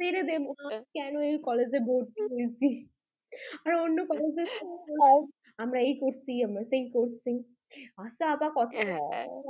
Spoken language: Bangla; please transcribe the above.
ছেড়ে দেব কেন এই college ভর্তি হয়েছি আর আমরা এই করছি আমরা সেই করছি, হ্যাঁ, আচ্ছা আজকে